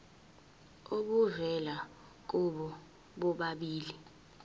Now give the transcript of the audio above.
obuvela kubo bobabili